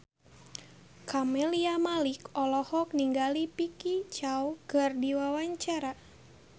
Camelia Malik olohok ningali Vicki Zao keur diwawancara